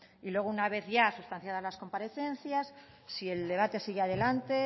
y luego una vez ya sustanciadas las comparecencias si el debate sigue adelante